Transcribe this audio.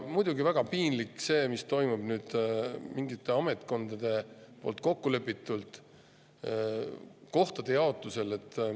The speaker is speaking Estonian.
Muidugi on väga piinlik see, mis toimub nüüd mingites ametkondades kokku lepitult kohtade jaotusega.